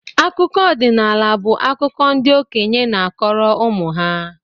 Akụkọ ọdinaala bu akụkọ ndị okenye na-akọrọ ụmụ ha